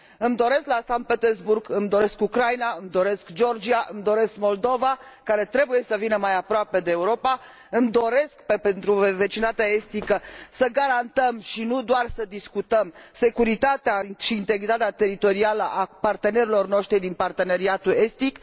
Îmi doresc la Sankt Petersburg, îmi doresc Ucraina, îmi doresc Georgia, îmi doresc Moldova, care trebuie să vină mai aproape de Europa, îmi doresc pentru vecinătatea estică să garantăm și nu doar să discutăm securitatea și integritatea teritorială a partenerilor noștri din Parteneriatul estic.